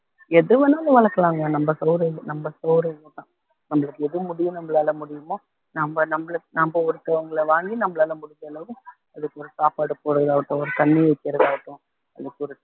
எது வேணாலும் வளர்க்கலாங்க நம்ம சவுரியம் நம்ம சவுரியம்தான் நம்மளுக்கு எது முடியுமோ நம்மளால முடியுமோ நம்ம நம்மள நாம ஒருத்தவங்களை வாங்கி நம்மளால முடிஞ்ச அளவுக்கு அதுக்கு ஒரு சாப்பாடு போடு ஆகட்டும் ஒரு தண்ணி வைக்கிறதாகட்டும் அதுக்கு ஒரு